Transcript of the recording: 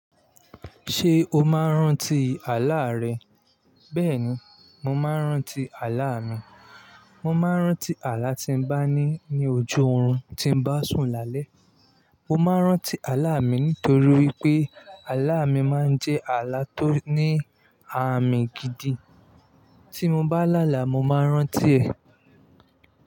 Ṣé o máa ń rántí àlá rẹ? Bẹ́ẹ̀ni, mo máa ń rántí àlá mi. Mo máa ń rántí àlá tí n bá ní ní ojú oorun tí n bá sùn lálẹ́. Mo máa ń rántí àlá mi nítorí pé àlá mi máa ń jẹ́ àlá tó ní àmì gidi. Tí mo bá láàlá, mo máa n rántí ẹ̀.